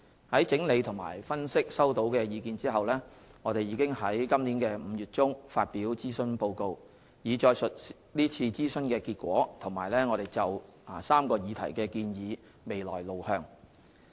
在整理和分析收到的意見後，我們已於今年5月中發表諮詢報告，以載述是次諮詢的結果和我們就3個議題的建議未來路向。